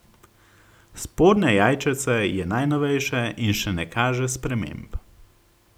Spodnje jajčece je najnovejše in še ne kaže sprememb.